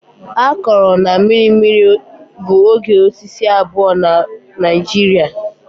Akọrọ na mmiri mmiri bụ oge osisi abụọ na Naijiria.